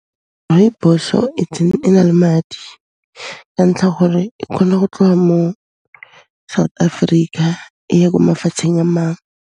Rooibos-o e na le madi ka ntlha gore e kgona go tloga mo South Africa, e ya ko mafatsheng a mang.